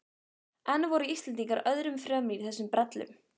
En voru Íslendingar öðrum fremri í þessum brellum?